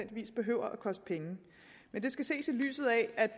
behøver at koste penge men det skal ses i lyset af at